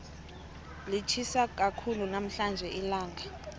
litjhisa khulu namhlanje ilanga